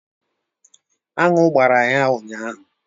Anụ gbara ya ụnyahụ.